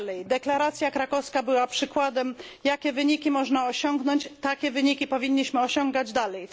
Deklaracja krakowska była przykładem, jakie wyniki można osiągnąć. Takie wyniki powinniśmy osiągać dalej.